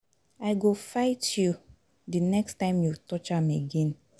I go fight you the next time you touch am again.